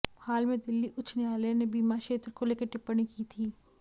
हाल में दिल्ली उच्च न्यायालय ने बीमा क्षेत्र को लेकर टिप्पणी की थी